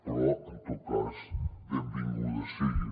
però en tot cas benvingudes siguin